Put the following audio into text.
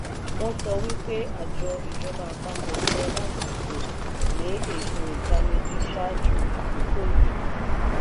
wọn sọ wípé àjọ ìjọba àpapọ̀ yẹ láti gun le ètò itaniji ṣáájú àkókò yíì.